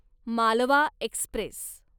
Malwa Express